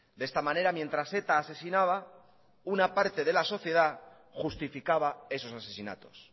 de esta manera mientras eta asesinaba una parte de la sociedad justificaba esos asesinatos